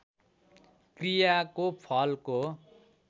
क्रियाको फलको